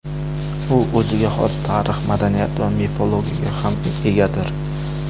U o‘ziga xos tarix, madaniyat va mifologiyaga ham egadir.